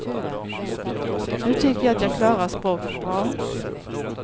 Nu tycker jag att jag klarar språket bra.